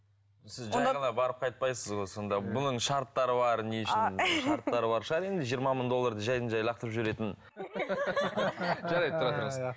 сіз жай ғана барып қайтпайсыз ғой сонда бұның шарттары бар не үшін шарттары бар шығар енді жиырма мың долларды жайдан жай лақтырып жіберетін жарайды тұра тұрыңыз